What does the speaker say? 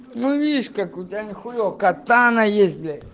ну видишь как у тебя не хуева катана есть бля